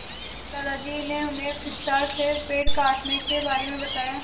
दादाजी ने उन्हें विस्तार से पेड़ काटने के बारे में बताया